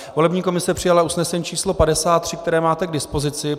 Volební komise přijala usnesení číslo 53, které máte k dispozici.